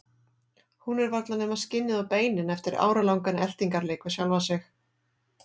Hún er varla nema skinnið og beinin eftir áralangan eltingarleik við sjálfa sig.